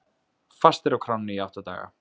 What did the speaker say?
Fastir á kránni í átta daga